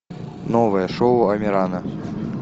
новое шоу амирана